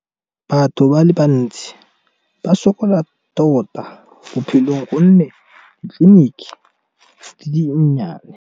Batho ba le bantsi ba sokola tota, bophelong gonne ditleliniki di di nnyane.